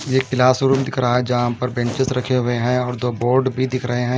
ये एक क्लासरूम दिख रहा है जहां पर बेंचेस रखे हुए हैं और दो बोर्ड भी दिख रहे हैं।